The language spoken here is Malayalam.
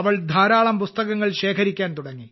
അവൾ ധാരാളം പുസ്തകങ്ങൾ ശേഖരിക്കാൻ തുടങ്ങി